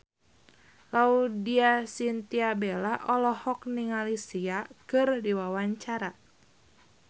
Laudya Chintya Bella olohok ningali Sia keur diwawancara